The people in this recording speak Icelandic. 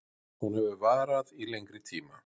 Hún hefur varað í lengri tíma